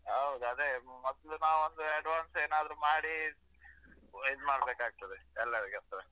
ಹೌದು ಅದೇ ಮೊದ್ಲ್ ಅಂದ್ರೆ advance ಏನಾದ್ರು ಮಾಡಿ ಇದ್ಮಾಡ್ಬೇಕಾಗ್ತದೆ ಎಲ್ಲರಿಗೊಸ್ಕರ.